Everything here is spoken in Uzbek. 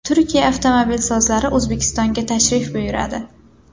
Turkiya avtomobilsozlari O‘zbekistonga tashrif buyuradi.